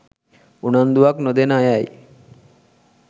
උනන්දුවක් නොදෙන අයයි